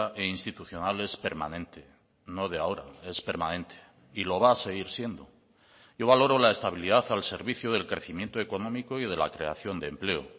e institucional es permanente no de ahora es permanente y lo va a seguir siendo yo valoro la estabilidad al servicio del crecimiento económico y de la creación de empleo